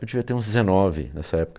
Eu devia ter uns dezenove nessa época.